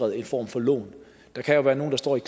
en form for lån der kan jo være nogle der står i